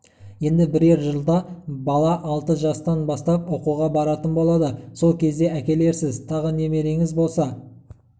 енді бірер жылда бала алты жастан бастап оқуға баратын болады сол кезде әкелерсіз тағы немереңіз болса